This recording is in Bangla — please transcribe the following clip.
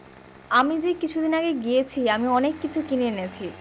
আমি যে এই কিছু দিন আগে গিয়েছি আমি অনেক কিছু কিনে এনেছি